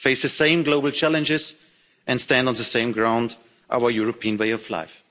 face the same global challenges and stand on the same ground our European way of life.